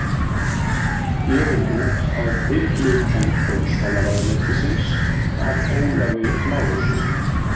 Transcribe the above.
Gefin út að tilhlutan dómsmálaráðuneytisins af Ólafi Lárussyni.